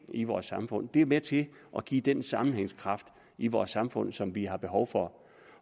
i vores samfund det er med til at give den sammenhængskraft i vores samfund som vi har behov for